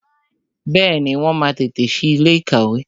Bẹẹni, wọn máa tètè sí ilé ìkàwé